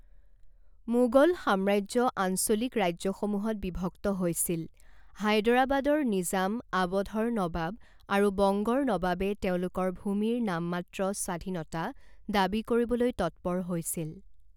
মোগল সাম্ৰাজ্য আঞ্চলিক ৰাজ্যসমূহত বিভক্ত হৈছিল, হায়দৰাবাদৰ নিজাম, আৱধৰ নৱাব আৰু বংগৰ নৱাবে তেওঁলোকৰ ভূমিৰ নামমাত্ৰ স্বাধীনতা দাবী কৰিবলৈ তৎপৰ হৈছিল।